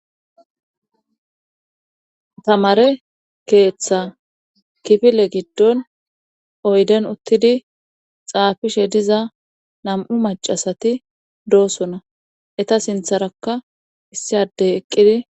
Tamare keeththa kifile giddon oyden uttidi xaafishe diza nam7u macasati doosona eta sintharakka issi adey eqqidi.